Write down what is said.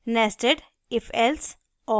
nested ifelse और